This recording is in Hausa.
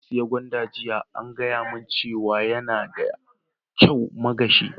Na saya gwanda jiya, an gaya mun cewa yana da kyau ma gashi.